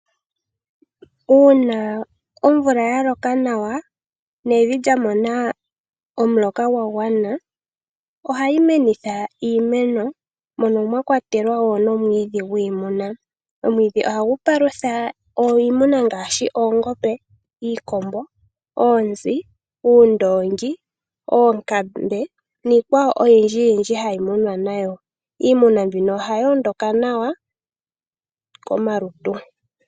Uuna omvula yaloka nawa nevi lya mona omuloka gwagwana. Ohayi nenitha iimeno mono mwakwatelwa womwiidhi gwiimuna. Omwiidhi oha gu palufa iinuma ngaashi, oongombe, iikombo, oonzi, uundongi, oonkambe niikwawo oyindji yindji hayi munwa nayo. Iimuna mbika ohayoondoka nawa komalutu.